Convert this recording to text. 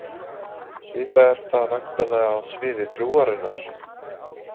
Svipað er það væntanlega á sviði trúarinnar.